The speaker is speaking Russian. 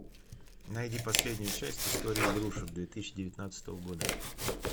найди последнюю часть истории игрушек две тысячи девятнадцатого года